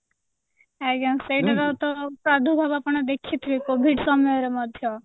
ଆଜ୍ଞା ସେଇଟା ତ ଆପଣ ଦେଖିଥିବେ କୋଭିଡ ସମୟରେ ମଧ୍ୟ